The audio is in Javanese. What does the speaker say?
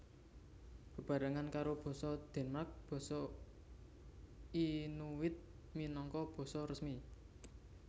Bebarengan karo basa Denmark basa Inuit minangka basa resmi